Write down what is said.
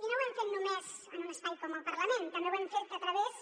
i no ho hem fet només en un espai com el parlament també ho hem fet a través